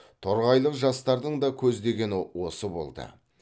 торғайлық жастардың да көздегені осы болды